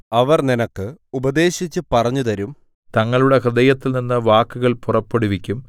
അവർ നിനക്ക് ഉപദേശിച്ചുപറഞ്ഞുതരും തങ്ങളുടെ ഹൃദയത്തിൽനിന്ന് വാക്കുകൾ പുറപ്പെടുവിക്കും